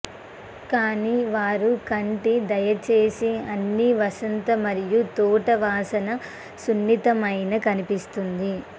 కానీ వారు కంటి దయచేసి అన్ని వసంత మరియు తోట వాసన సున్నితమైన కనిపిస్తుంది